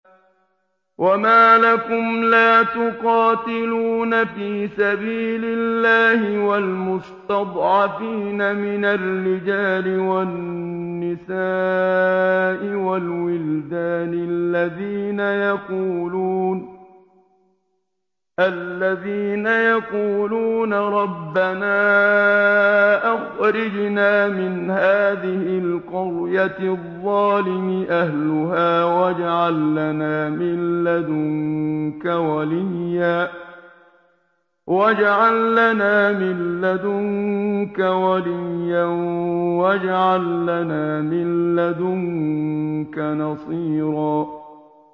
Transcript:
وَمَا لَكُمْ لَا تُقَاتِلُونَ فِي سَبِيلِ اللَّهِ وَالْمُسْتَضْعَفِينَ مِنَ الرِّجَالِ وَالنِّسَاءِ وَالْوِلْدَانِ الَّذِينَ يَقُولُونَ رَبَّنَا أَخْرِجْنَا مِنْ هَٰذِهِ الْقَرْيَةِ الظَّالِمِ أَهْلُهَا وَاجْعَل لَّنَا مِن لَّدُنكَ وَلِيًّا وَاجْعَل لَّنَا مِن لَّدُنكَ نَصِيرًا